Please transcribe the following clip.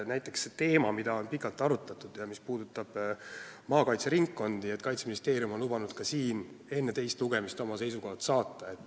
Näiteks üks teema, mida on pikalt arutatud, puudutab maakaitse ringkondi ja Kaitseministeerium on lubanud enne teist lugemist oma seisukohad saata.